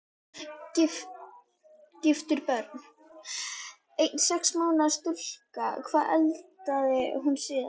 Giftur Börn: Ein sex mánaða stúlka Hvað eldaðir þú síðast?